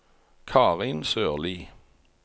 Karin Sørlie